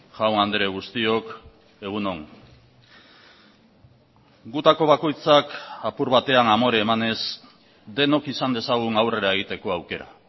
jaun andre guztiok egun on gutako bakoitzak apur batean amore emanez denok izan dezagun aurrera egiteko aukera